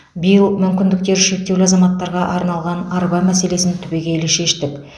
биыл мүмкіндіктері шектеулі азаматтарға арналған арба мәселесін түбегейлі шештік